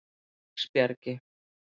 Teigsbjargi